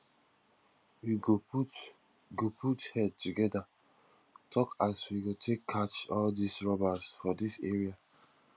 we go put go put head together talk as we go take catch all dis robbers for dis area